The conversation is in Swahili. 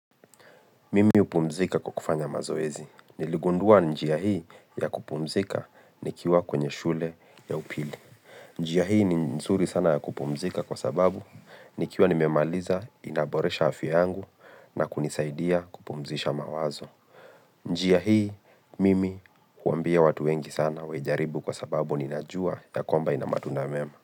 Mimi hupumzika kwa kufanya mazoezi. Niligundua njia hii ya kupumzika nikiwa kwenye shule ya upili. Njia hii ni nzuri sana ya kupumzika kwa sababu nikiwa nimemaliza inaboresha afya yangu na kunisaidia kupumzisha mawazo. Njia hii mimi huambia watu wengi sana waijaribu kwa sababu ninajua ya kwamba ina matunda mema.